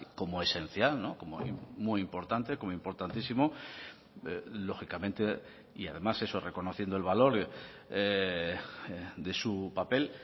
como esencial como muy importante como importantísimo lógicamente y además eso reconociendo el valor de su papel